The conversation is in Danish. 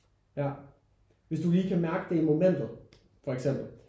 Ja hvis du lige kan mærke det i momentet for eksempel